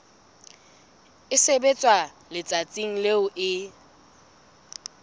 e sebetswa letsatsing leo e